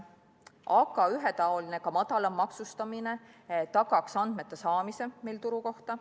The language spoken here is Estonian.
Aga ühetaoline, ka madalam maksustamine tagaks andmete saamise turu kohta.